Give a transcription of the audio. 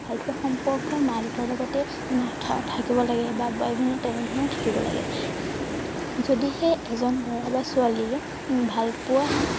ভালপোৱা সম্পৰ্ক মা দেউতাৰ লগতে নাথ থাকিব লাগে বা তেনে ধৰণে থাকিব লাগে যদিহে এজন লৰা বা ছোৱালীয়ে উম ভালপোৱা